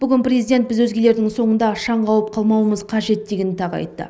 бүгін президент біз өзгелердің соңында шаң қауып қалмауымыз қажет дегенді тағы айтты